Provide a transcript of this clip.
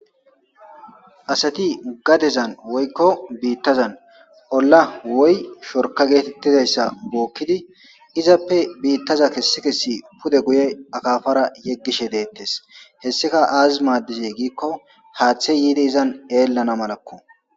Asati gadezan woykko biittazan olla woy shorka geetettizayssa gookkidi izappe biittaza kessi kessi pude guye akaafara yeggishe deettes hessika aazi maaddizey giikko haaththe yiidi izan eellana malakko